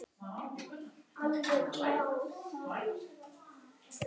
Heyrðu mig.